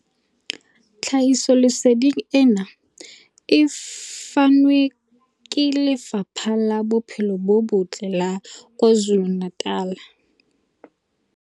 Tlhahisoleseding ena e fanwe ke Lefapha la Bophelo bo Botle la KwaZulu-Natal.